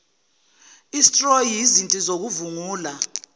stroyi izinti zokuvungula